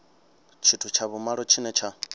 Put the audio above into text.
tshithu tsha vhumalo tshine tsha